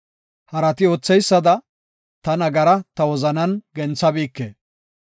Harati ootheysada, ta nagaraa ta wozanan genthabike.